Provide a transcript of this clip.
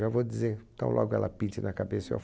Já vou dizer, tão logo ela pinte na cabeça, eu